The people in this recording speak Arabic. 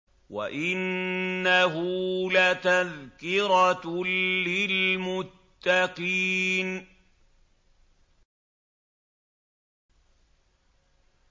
وَإِنَّهُ لَتَذْكِرَةٌ لِّلْمُتَّقِينَ